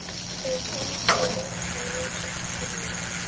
Þeim samdi vel en voru samt ekki nánar.